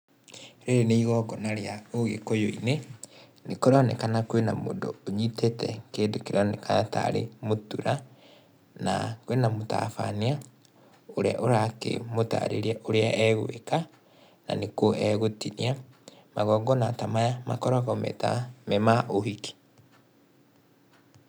Rĩrĩ nĩ igongona rĩa ũgĩkũyũ-inĩ, nĩ kũronekana kwĩna mũndũ ũnyitĩte kĩndũ kĩronekana tarĩ mũtura, na kwĩna mũtabania, ũrĩa ũrakĩmũtarĩria ũrĩa egwĩka, na nĩ kũ egũtinia, magongona ta maya makoragwo me ta, me ma ũhiki